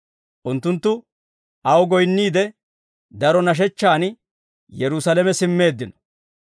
Unttunttu aw goyinniide, daro nashechchaan Yerusaalame simmeeddino.